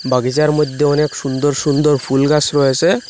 Office -এর মধ্যে অনেক সুন্দর সুন্দর ফুলগাছ রয়েসে।